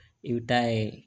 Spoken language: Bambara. I bɛ taa ye